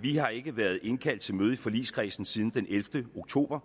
vi har ikke været indkaldt til møde i forligskredsen siden den ellevte oktober